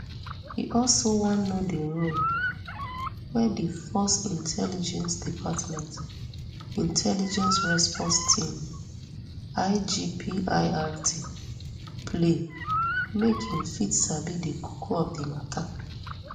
e also wan know di role wey di force intelligence department intelligence response team igpirt play make im fit sabi di koko of di mata